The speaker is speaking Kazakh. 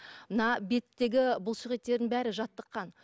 мына беттегі бұлшық еттердің бәрі жаттыққан